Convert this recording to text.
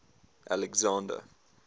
alexander